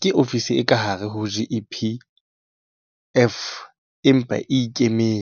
ke ofisi e ka hare ho GEPF, empa e e ikemetse.